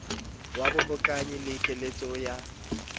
wa bohokanyi le keletso wa